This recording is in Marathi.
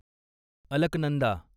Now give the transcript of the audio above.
अलकनंदा